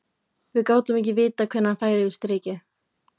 Við gátum ekki vitað hvenær hann færi yfir strikið.